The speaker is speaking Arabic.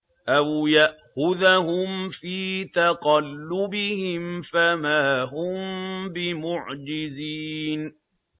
أَوْ يَأْخُذَهُمْ فِي تَقَلُّبِهِمْ فَمَا هُم بِمُعْجِزِينَ